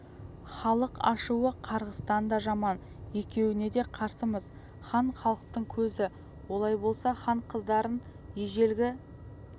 халық ашуы қарғыстан да жаман екеуіне де қарсымыз хан халықтың көзі олай болса хан қыздарын ежелгі